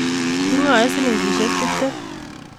Kingoen silikishek tibten